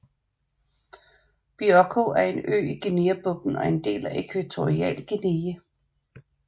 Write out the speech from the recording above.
Bioko er en ø i Guineabugten og er en del af Ækvatorialguinea